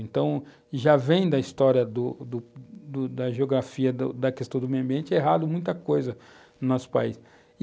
Então, já vem da história do do do da geografia, da questão do meio ambiente, errado muita coisa no nosso país.